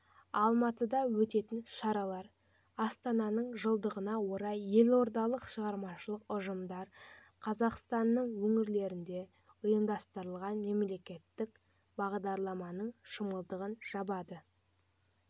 алматыда өтетін шаралар астананың жылдығына орай елордалық шығармашылық ұжымдар қазақстанның өңірлерінде ұйымдастырған мерекелік бағдарламаның шымылдығын жабады